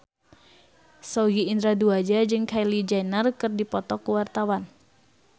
Sogi Indra Duaja jeung Kylie Jenner keur dipoto ku wartawan